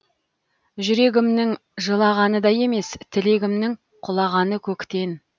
жүрегімнің жылағаны да емес тілегімнің құлағаны көктен